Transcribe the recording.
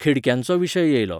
खिडक्यांचो विशय येयलो.